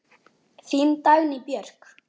Þín Dagný Björk.